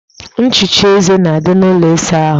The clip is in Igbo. Nchicha eze na-adị n'ụlọ ịsa ahụ